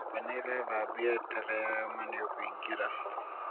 nyũmba nĩ ĩrathbĩo eterea yoma nĩũkũĩngĩra